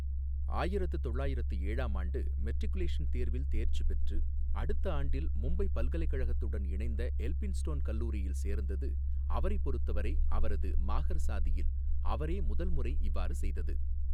ஆயிரத்து தொள்ளாயிரத்து ஏழாம் ஆண்டு மெட்ரிகுலேசன் தேர்வில் தேர்ச்சி பெற்று, அடுத்த ஆண்டில் மும்பை பல்கலைக்கழகத்துடன் இணைந்த எல்பின்ஸ்டோன் கல்லூரியில் சேர்ந்தது அவரைப் பொறுத்தவரை அவரது மாஹர் சாதியில் அவரே முதல் முறை இவ்வாறு செய்தது.